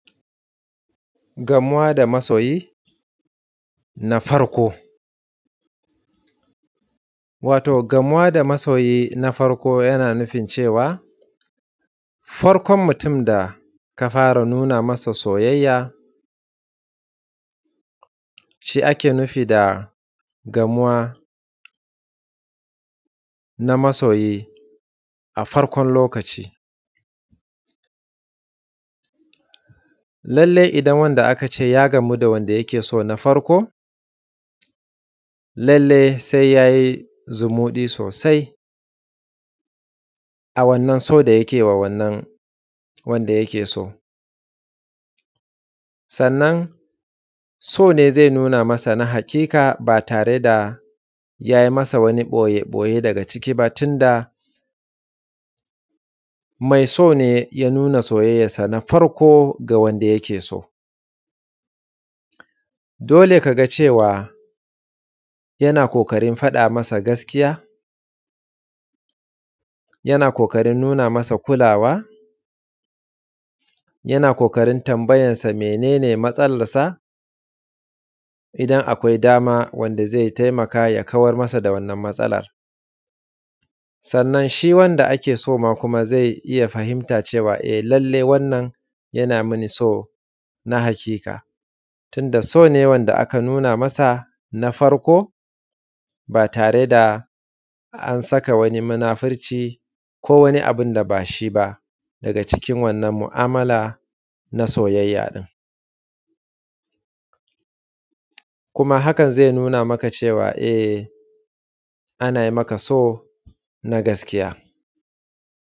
Gamuwa da masoyi na farko, wato gamuwa da masoyi na farko yana nufin cewa farkon mutum da ka fara nuna masa soyayya shi ake nufi da gamuwa na masoyi a farkon lokaci. Lallai idan wanda aka ce ya gamu da wanda yake so na farko, lallai se ya yi zumuɗi sosai a wannan so da yake ma wannan wanda yake so, sannan sone ze nuna masa na haƙiƙa ba tare da ya yi masa wani boye-boye daga ciki ba. Tunda mai so ne ya nuna soyayyansa na farko da yake so dole ka ga cewa yana ƙoƙarin faɗa masa gaskiya, yana ƙoƙarin nuna masa kulawa, yana ƙoƙarin tambayan sa mene ne matsalar sa, idan akwai dama wanda ze taimaka ya kamar masa da wanann matsalan, sannan shi wanda ake so ze iya fahimta cewa lallai wannan yana mini so na haƙiƙa, tun da so ne wanda aka nuna masa na farko ba tare da an saka wani munafurci ko wani abu da ba shi ba daga cikin wannan mu’amala na soyayya. In kuma hakan ze nuna maka cewa e ana maka so na gaskiya.